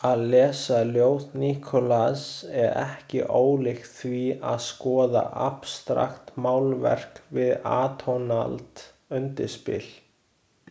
Að lesa ljóð Nikolajs er ekki ólíkt því að skoða abstraktmálverk við atónalt undirspil.